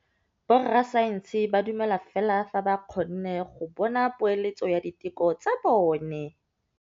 Borra saense ba dumela fela fa ba kgonne go bona poeletsô ya diteko tsa bone.